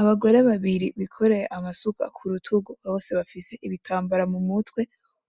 Abagore babiri bikoreya amasuka kurutugu bose bafise ibitambara mumutwe